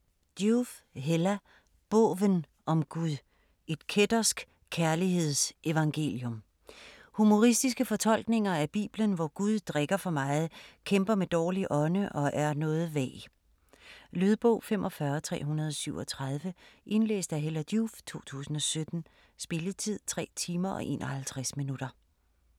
Joof, Hella: Båven om Gud: et kættersk kærlighedsevangelium Humoristiske fortolkninger af Bibelen, hvor Gud drikker for meget, kæmper med dårlig ånde og er noget vag. Lydbog 45337 Indlæst af Hella Joof, 2017. Spilletid: 3 timer, 51 minutter.